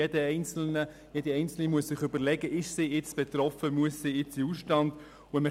Jeder Einzelne und jede Einzelne muss sich überlegen, ob er oder sie jetzt betroffen ist und in den Ausstand treten muss.